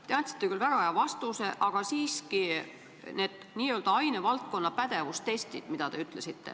Te andsite küll väga hea vastuse, aga siiski – need n-ö ainevaldkonna pädevustestid.